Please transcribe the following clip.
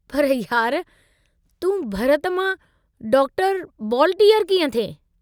पर यार तूं भरत मां डॉक्टर बॉलटीअर कीअं थिएं?